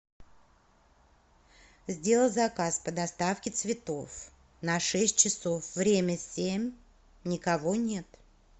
сделала заказ по доставке цветов на шесть часов время семь никого нет